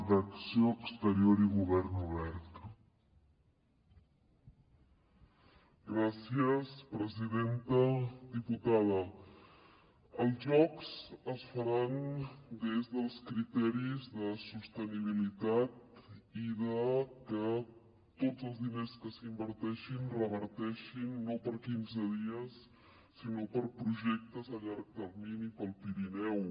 diputada els jocs es faran des dels criteris de sostenibilitat i de que tots els diners que s’inverteixin reverteixin no per quinze dies sinó per projectes a llarg termini per al pirineu